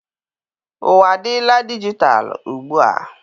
Ụwa adịla dijitalụ ugbua.